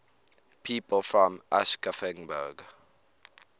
people from aschaffenburg